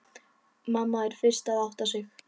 Mamma er fyrst að átta sig: